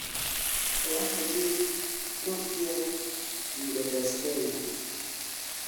owacho ni nokier yudo pes Kenya